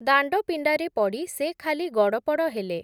ଦାଣ୍ଡପିଣ୍ଡାରେ ପଡ଼ି, ସେ ଖାଲି ଗଡ଼ପଡ଼ ହେଲେ ।